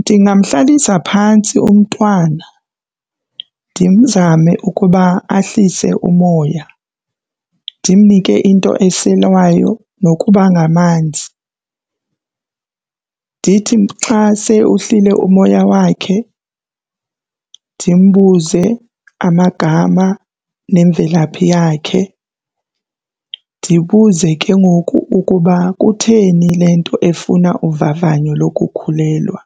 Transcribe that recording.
Ndingamhlalisa phantsi umntwana ndimzame ukuba ahlise umoya, ndimnike into eselwayo nokuba ngamanzi. Ndithi ndithi xa se uhlile umoya wakhe ndimbuze amagama nemvelaphi yakhe. Ndibuze ke ngoku ukuba kutheni le nto efuna uvavanyo lokukhulelwa.